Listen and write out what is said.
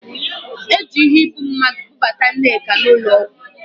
Eji iheibummadụ bubata Nneka n'ụlọ ọgwụ